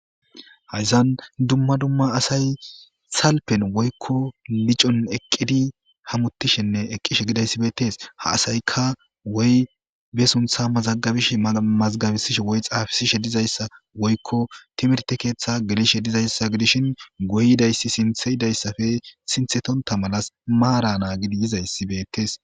Haysan dumma dumma asay salpen woyko licon eqid hamutishenne eqishe hidaysi betes, ha asayka wwoy be suntha mazagabishe woy mazigabisihse woy xafisishw dizaysa woyko timerte keetha gelishe dizaysa gidishn guye yidaysi sinthe yidaysappe sinthetonta malas maara naagid yizaysi beetes